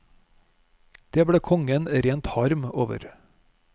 Det ble kongen rent harm over.